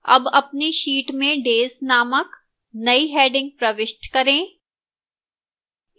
अब अपनी sheet में days named now heading प्रविष्ट करें